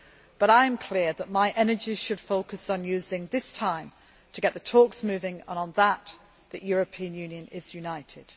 But I am clear that my energies should focus on using this time to get the talks moving, and, on that, the European Union is united.